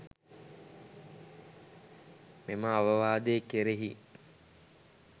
මෙම අවවාදය කෙරෙහි